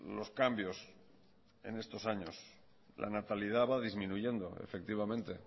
los cambios en estos años la natalidad va disminuyendo efectivamente